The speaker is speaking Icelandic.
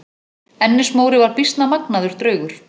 Ennis-Móri var býsna magnaður draugur.